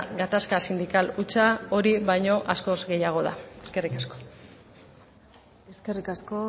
gatazka sindikal hutsa hori baino askoz gehiago da eskerrik asko eskerrik asko